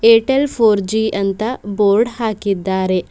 Airtel four G ಅಂತ board ಹಾಕಿದ್ದಾರೆ.